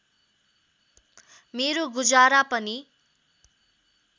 मेरो गुजारा पनि